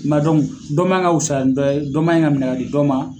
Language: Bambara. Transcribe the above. Ma dɔ man ka fisaya ni dɔ ye, dɔ man ka minɛ kadi dɔ ma.